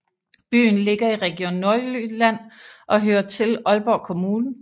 Byen ligger i Region Nordjylland og hører til Aalborg Kommune